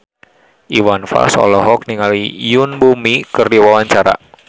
Iwan Fals olohok ningali Yoon Bomi keur diwawancara